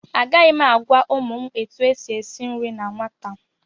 Agaghị m agwa ụmụ m etu e si esi nri na nwata